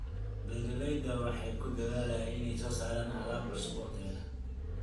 Beeraleydu waxay ku dadaalaan inay soo saaraan alaab cusub oo tayo leh.